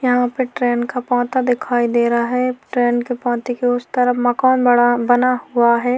यहाँ पर ट्रेन का पोंता दिखाई दे रहा है ट्रेन के पोंते के उस तरफ मकान बड़ा बना हुआ है।